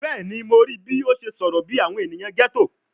Bẹẹni, Mo rii bi o ṣe sọrọ bi awọn eniyan ghetto